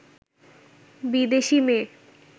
বিদেশী মেয়ে